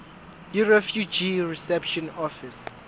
yirefugee reception office